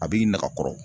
A b'i nɛgɛ kɔrɔ